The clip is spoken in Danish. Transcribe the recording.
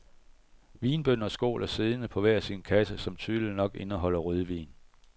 Vinbønder skåler siddende på hver sin kasse, som tydeligt nok indeholder rødvin.